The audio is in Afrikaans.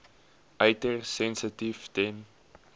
uiters sensitief ten